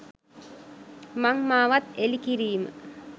මං මාවත් එළි කිරීම